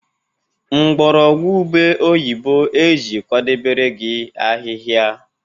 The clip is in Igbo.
mgbọrọgwụ ube oyibo e ji kwadebere gị ahịhịa